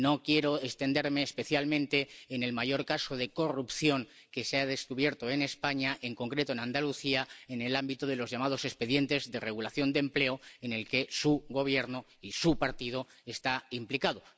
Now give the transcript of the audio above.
Y no quiero extenderme, especialmente en el mayor caso de corrupción que se ha descubierto en España, en concreto en Andalucía, en el ámbito de los llamados expedientes de regulación de empleo, en el que su Gobierno y su partido están implicados.